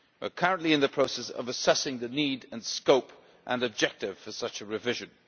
We are currently in the process of assessing the need, scope and objective for such a revision.